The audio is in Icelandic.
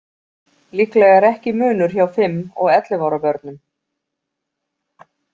Líklega er ekki munur hjá fimm og ellefu ára börnum.